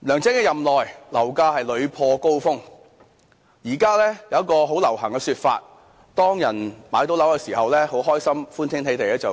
梁振英在任內，樓價是屢破高峰，現在有一個很流行的說法，有人買到樓宇單位的時候歡天喜地的表